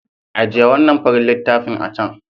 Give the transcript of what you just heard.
Ajiye wannan farin littafin a can.